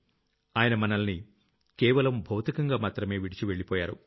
ఆయన మనల్ని కేవలం భౌతికంగా మాత్రమే విడిచి వెళ్లిపోయారు